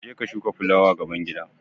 Je ka shuka fulawa gaban gida!